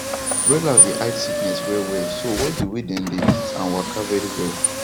broilers dey hide sickness well wellso watch the way dem dey eat an walka very well